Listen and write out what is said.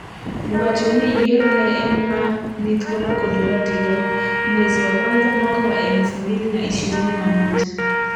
wacho ni yiero ne en ma ni thuolo kod ratiro, mwezi wa kwanza mwaka wa elfu mbili na ishririni na moja